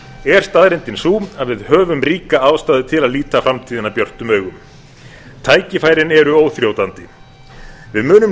er staðreyndin sú að við höfum ríka ástæðu til að líta framtíðina björtum augum tækifærin eru óþrjótandi við munum